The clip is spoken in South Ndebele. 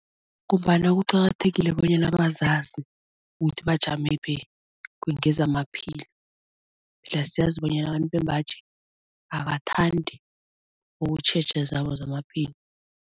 Ngombana kuqakathekile bonyana bazazi ukuthi bajamephi ngezamaphilo. siyazi bonyana abantu bembaji abathandi ukutjheja zabo zamaphilo.